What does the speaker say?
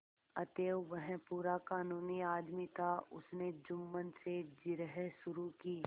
अतएव वह पूरा कानूनी आदमी था उसने जुम्मन से जिरह शुरू की